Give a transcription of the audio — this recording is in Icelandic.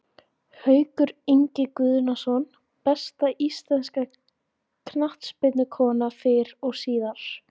Haukur Ingi Guðnason Besta íslenska knattspyrnukonan fyrr og síðar?